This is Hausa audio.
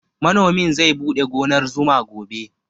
Manomin zai buɗe gonar zuma gobe